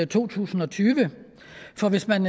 to tusind og tyve for hvis man